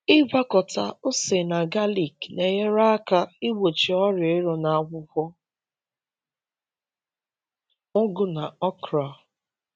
Ịgwakọta ose na galik na-enyere aka igbochi ọrịa ero na akwụkwọ ugu na okra.